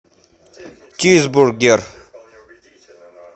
чизбургер